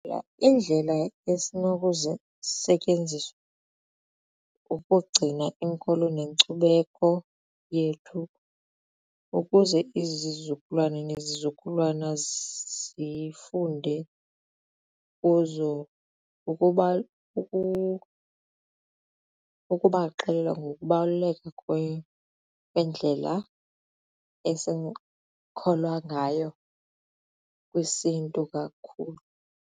Iindlela esinokuzisetyenzisa ukugcina inkolo nenkcubeko yethu ukuze izizukulwana nezizukulwana zifunde kuzo kukubaxelela ngokubaluleka kwendlela esikholwa ngayo kwisiNtu kakhulu.